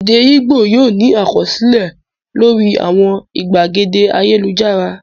Èdè Ìgbò yóò ní àkọsílẹ̀ lórí àwọn ìgbàgede ayélujára.